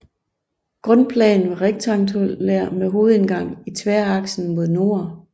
Grundplanen var rektangulær med hovedindgang i tværaksen mod nord